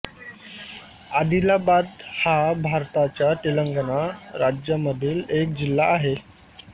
आदिलाबाद हा भारताच्या तेलंगणा राज्यामधील एक जिल्हा आहे